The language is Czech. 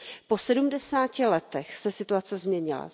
Po sedmdesáti letech se situace změnila.